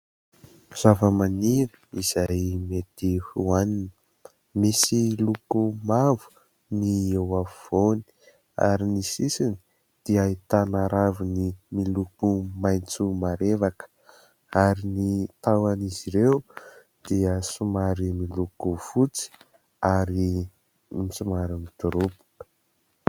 Zavamaniry izay mety hoanina. Misy loko mavo ny eo afovoany ary ny sisiny dia ahitana raviny miloko maitso marevaka ary ny tahon'izy ireo dia somary miloko fotsy ary somary midoroboka.